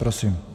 Prosím.